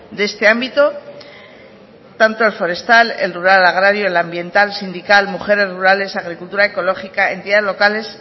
de este ámbito tanto el forestal el rural agrario el ambiental sindical mujeres rurales agricultura ecológica entidades locales